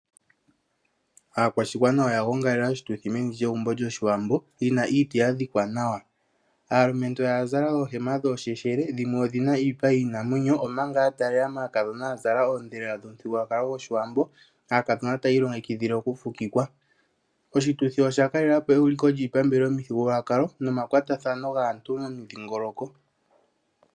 Aakwashigwana oya gongelela oshituthi meni lyegumbo lyoshiwambo, li na iiti yadhikwa nawa. Aalumentu oya zala oohema dhoosheshele, dhimwe odhi na iipa yiinamwenyo, omanga ya taalela maakadhona ya zala oondhelela dhomuthigululwakalo goshiwambo. Aakadhona taya ilongekidhile okufukikwa. Oshituthi osha kalela po euliko lyiipambele omuthigululwakalo nomakwatathano gaantu momudhingoloko.